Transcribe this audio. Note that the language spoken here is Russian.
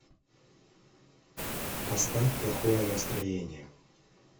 поставь плохое настроение